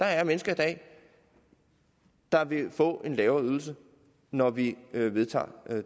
er mennesker der vil få en lavere ydelse når vi vedtager